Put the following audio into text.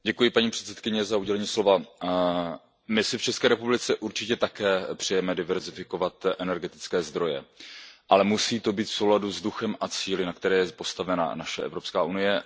Paní předsedající, my si v České republice určitě také přejeme diverzifikovat energetické zdroje, ale musí to být v souladu s duchem a cíli, na kterých je postavena naše Evropská unie.